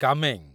କାମେଂ